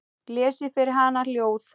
Lesi fyrir hana ljóð.